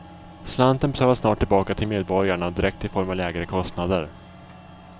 Slanten betalas snart tillbaka till medborgarna direkt i form av lägre kostnader.